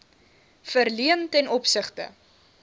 verleen ten opsigte